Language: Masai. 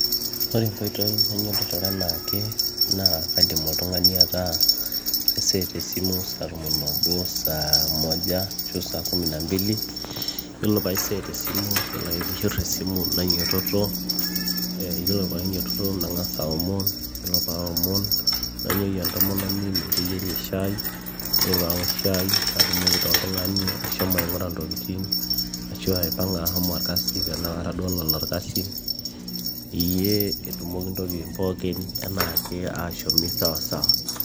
Ore enkoitoi nainyototorie enaake naa kaidim oltung'ani ataaa kaiset esimi saatom oobo saamoja ashuu saambili yiolo paiset esimu yiolo ake peeishir esimu nainyiototo yiolo painyiototo nang'as aaomon yiolo paaomon nainyieyie entomononi meteyieri shaai yiolo paaok shai natumoki taa oltung'ani ashomo aing'ura intokitin ashua aipang'a ashomo aas esiai tenaa kara duo ololo orkasi peyie etumoki intokitin pookin enaake ashomi sawasawa